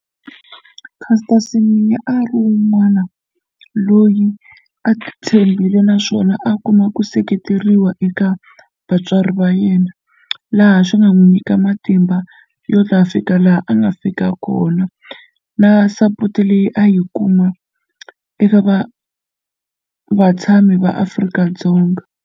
Caster Semenya a ri un'wana loyi a titshembile naswona a kuma ku seketeriwa eka vatswari va yena laha swi nga n'wi nyika matimba yo ta fika laha a nga fika kona na support leyi a yi kuma ivi va vatshami va Afrika-Dzonga.